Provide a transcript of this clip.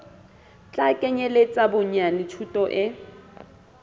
tla kenyeletsa bonyane thuto e